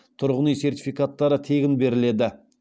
тұрғын үй сертификаттары тегін беріледі